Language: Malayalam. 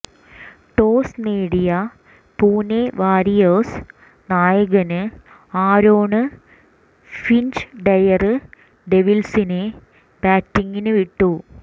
ടോസ് നേടിയ പുനെ വാറിയേഴ്സ് നായകന് ആരോണ് ഫിഞ്ച് ഡെയര് ഡെവിള്സിനെ ബാറ്റിംഗിന് വിട്ടു